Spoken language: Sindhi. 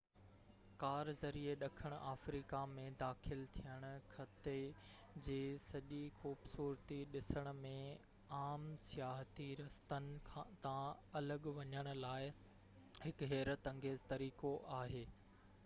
ڪار ذريعي ڏکڻ آفريڪا ۾ داخل ٿيڻ خطي جي سڄي خوبصورتي ڏسڻ ۽ عام سياحتي رستن تان الڳ وڃڻ لاءِ هڪ حيرت انگيز طريقو آهي